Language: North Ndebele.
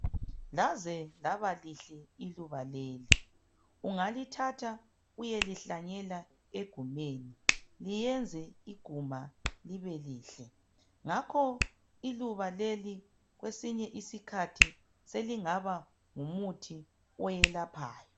Laze laba lihle iluba leli ungalithatha uyelihlanyela egumeni liyenze iguma libe lihle, ngakho iluba leli kwesinye isikhathi selingaba ngumuthi oyelaphayo.